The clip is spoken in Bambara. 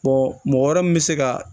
mɔgɔ wɛrɛ min bɛ se ka